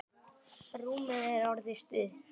Rúmið er orðið of stutt.